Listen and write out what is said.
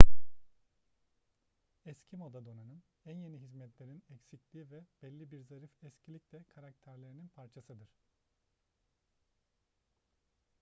eski moda donanım en yeni hizmetlerin eksikliği ve belli bir zarif eskilik de karakterlerinin parçasıdır